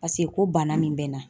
Paseke ko bana min bɛ n na.